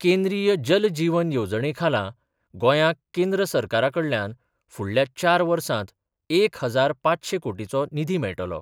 केंद्रीय जल जीवन येवजणेखाला गोंयाक केंद्र सरकाराकडल्यान फुडल्या चार वर्सांत एक हजार पांचशे कोटीचो निधी मेळटलो.